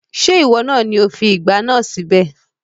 Ṣé ìwọ lo fi ìgbá náà síbẹ̀?